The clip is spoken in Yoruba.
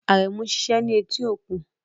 Aremu ń ṣiṣẹ́ ní etí okun